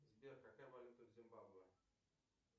сбер какая валюта в зимбабве